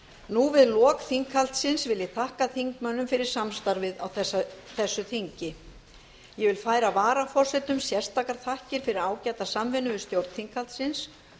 nú við lok þinghaldsins vil ég þakka þingmönnum fyrir samstarfið á þessu þingi ég vil færa varaforsetum sérstakar þakkir fyrir ágæta samvinnu við stjórn þinghaldsins